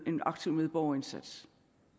en aktiv medborgerindsats